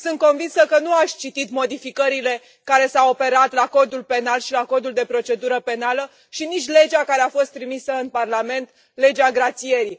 Sunt convinsă că nu ați citit modificările care s au operat la Codul penal și la Codul de procedură penală și nici legea care a fost trimisă în Parlament, legea grațierii.